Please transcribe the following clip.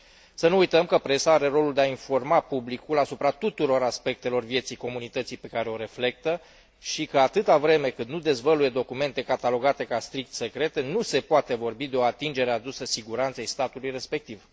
Să nu uităm că presa are rolul de a informa publicul asupra tuturor aspectelor vieții comunității pe care o reflectă și că, atâta vreme cât nu dezvăluie documente catalogate ca strict secrete, nu se poate vorbi de o atingere adusă siguranței statului respectiv.